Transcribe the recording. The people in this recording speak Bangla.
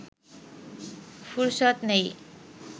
ফুরসত নেই